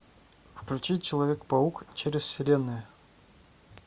включить человек паук через вселенные